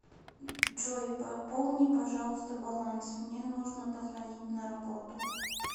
джой пополни пожалуйста баланс мне нужно позвонить на работу